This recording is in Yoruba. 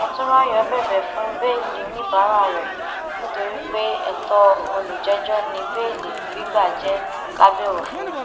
mòtúnráyọ bẹbẹ fún bẹẹlí oníbàárà rẹ nítorí pé ètò olùjẹjọ ní béèlì gbígbà jẹ lábẹ òfin